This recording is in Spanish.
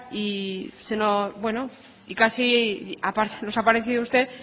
y casi nos ha parecido usted